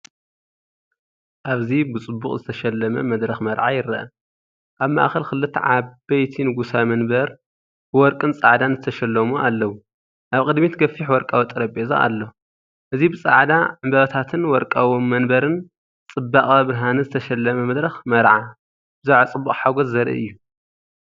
ኣብዚ ብጽቡቕ ዝተሰለመ መድረኽ መርዓ ይረአ። ኣብ ማእከል ክልተ ዓበይቲ ንጉሳዊ መንበር ብወርቅን ጻዕዳን ዝተሰለሙ ኣለዉ። ኣብ ቅድሚት ገፊሕ ወርቃዊ ጠረጴዛ ኣሎ። እዚ ብጻዕዳ ዕምባባታትን ወርቃዊ መንበርን ጽባቐ ብርሃንን ዝተሰለመ መድረኽ መርዓ ብዛዕባ ፅቡቅ ሓጐስ ዘርኢ እዩ።